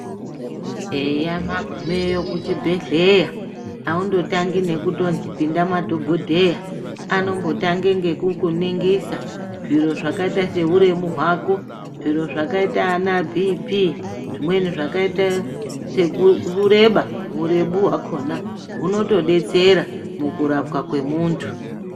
Eya magumeyo kuchibhedhlera aungotangi nekunzi pindemo madhokodheya anongotanga ngekukuningisa zviro zvakaita sehuremu hwako zviro zvakaita Sana BP zvimweni zvakaita sekureba hurebu hwakona hunotodetsera mukurapwa kwemuntu.